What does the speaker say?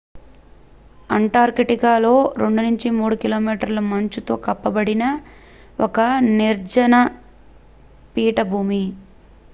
Antarctica లో 2-3 కి.మీ మంచు తో కప్పబడిన ఒక నిర్జన పీఠభూమి